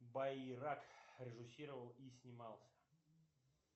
баи рак режиссировал и снимался